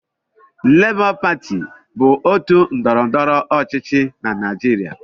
Lebọ pati bụ otu ndọrọndọrọ ọchịchị na Naịjirịa.